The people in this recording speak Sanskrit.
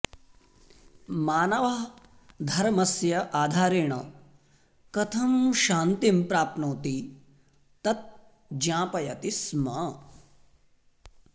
मानवः धर्मस्य आधारेण कथं शान्तिं प्राप्नोति तत् ज्ञापयति स्म